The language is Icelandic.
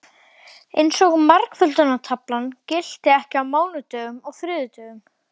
Eins og margföldunartaflan gilti ekki á mánudögum og þriðjudögum.